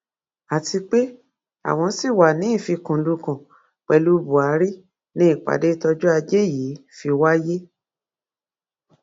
àti pé àwọn ṣì wàá ní ìfikùnlukùn pẹlú buhari ni ìpàdé tọjọ ajé yìí fi wáyé